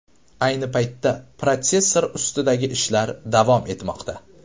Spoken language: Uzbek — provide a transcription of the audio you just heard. Ayni paytda protsessor ustidagi ishlar davom etmoqda.